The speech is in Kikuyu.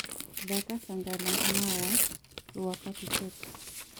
thaka sanga la mawa rwa papi tex